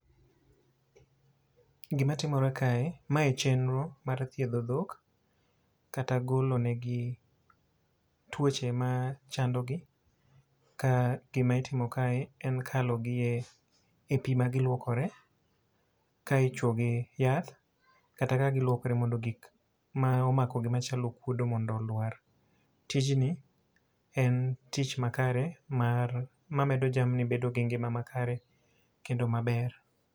Gima timore kae, mae chenro mar thiedho dhok kata golo negi tuoche ma chando gi. Ka gima itimo kae en kalo gi e pi ma gilwokore ka ichwo gi yath, kata ka gilwokre mondo gik ma omakogi machalo okwodo mondo olwar. Tijni en tich makare mar, ma medo jamni bedo gi ngima makare kendo maber.